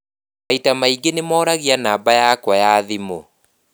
Maita maingĩ nĩ moragia namba yakwa ya thimũ.